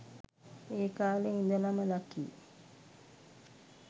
ඒ කාලෙ ඉඳලම ලකී